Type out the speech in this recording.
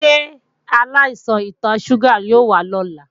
Ṣé aláìsàn ìtọ ṣúgà o wá lọ́la?